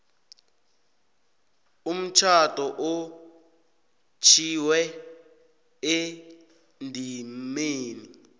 umtjhado otjhwiwe endimeni